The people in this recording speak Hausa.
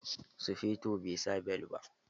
Sufeton bai sa bel ba.